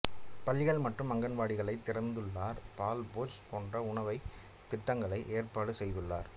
பள்ளிகள் மற்றும் அங்கன்வாடிகளைத் திறந்துள்ளனர் பால் போஜ் போன்ற உணவுத் திட்டங்களையும் ஏற்பாடு செய்துள்ளனர்